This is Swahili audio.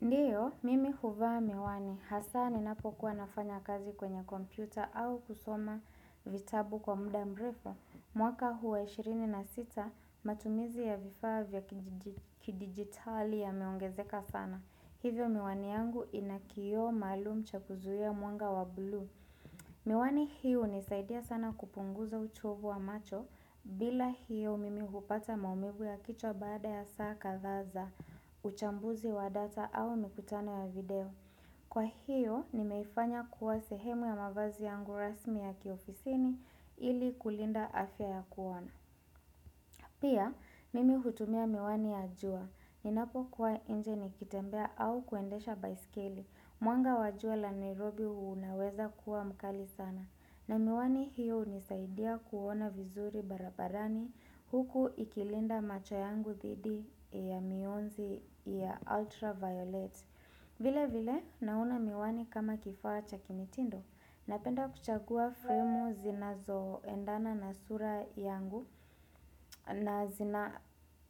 Ndiyo, mimi huvaa miwani hasa ninapokuwa nafanya kazi kwenye kompyuta au kusoma vitabu kwa muda mrefu. Mwaka huu wa 26 matumizi ya vifaa vya kidigitali yameongezeka sana. Hivyo miwani yangu inakioo maalum cha kuzuhia mwanga wa blue. Miwani hii hunisaidia sana kupunguza uchovu wa macho bila hiyo mimi hupata maumivu ya kichwa baada ya saa kadhaa za. Uchambuzi wa data au mikutano ya video Kwa hiyo, nimeifanya kuwa sehemu ya mavazi yangu rasmi ya kiofisini ili kulinda afya ya kuona Pia, mimi hutumia miwani ya jua Ninapo kuwa nje nikitembea au kuendesha baiskeli Mwanga wa jua la Nairobi unaweza kuwa mkali sana na miwani hiyo hunisaidia kuona vizuri barabarani Huku ikilinda macho yangu dhidi ya mionzi ya ultra violet vile vile naona miwani kama kifaa cha kimitindo Napenda kuchagua filmu zinazo endana na sura yangu na